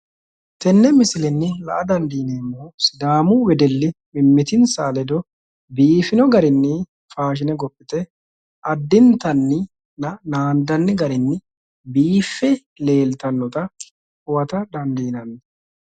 Tenne misilenni la'a dandiineemmohu sidaamu wedelli mimmitinsa ledo biifino garinni faashshine gophite addintanni naandanni garinni biiffe leeltannota huwata dandiinanni.